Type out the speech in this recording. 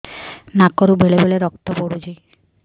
ନାକରୁ ବେଳେ ବେଳେ ରକ୍ତ ପଡୁଛି